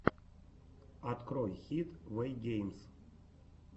открой хид вэйгеймс